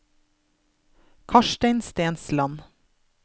Karstein Stensland